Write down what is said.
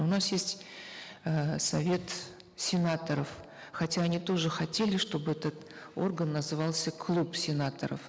у нас есть э совет сенаторов хотя они тоже хотели чтобы этот орган назывался клуб сенаторов